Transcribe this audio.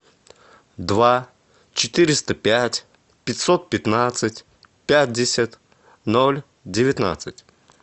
два четыреста пять пятьсот пятнадцать пятьдесят ноль девятнадцать